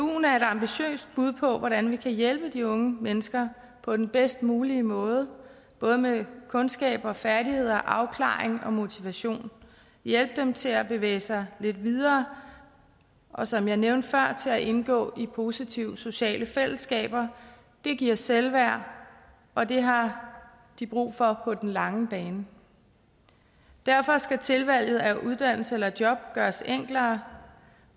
er et ambitiøst bud på hvordan vi kan hjælpe de unge mennesker på den bedst mulige måde både med kundskaber færdigheder afklaring og motivation hjælpe dem til at bevæge sig lidt videre og som jeg nævnte før til at indgå i positive sociale fællesskaber det giver selvværd og det har de brug for på den lange bane derfor skal tilvalget af uddannelse eller job gøres enklere